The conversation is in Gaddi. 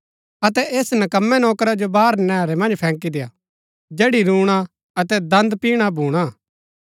अतै ऐस नकम्मै नौकरा जो बाहर नैहरै मन्ज फैंकी देय्आ जैड़ी रूणा अतै दन्द पिहणा भूणा